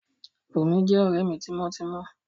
Bùnmi jẹ́ ọ̀rẹ́ mi tímọ́ tímọ́